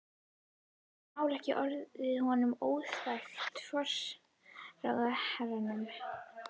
Getur þetta mál ekki orðið honum óþægilegt, forsætisráðherranum?